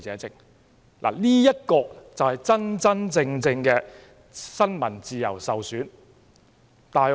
這才是真真正正新聞自由受損的範例。